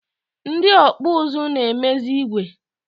Ndị ọkpụ ụzụ na-emezi igwe.